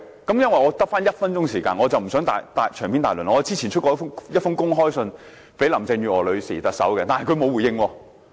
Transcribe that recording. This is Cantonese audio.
因為我只餘下1分鐘時間，我不想長篇大論，我之前發出一封公開信給特首林鄭月娥，但她沒有回應。